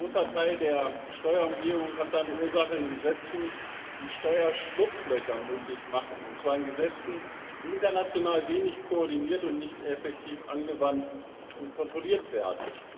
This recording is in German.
Ein großer Teil der Steuerumgehung hat seine Ursache in Gesetzen, die Steuerschlupflöcher möglich machen, und zwar in Gesetzen, die international wenig koordiniert und nicht effektiv angewandt und kontrolliert werden.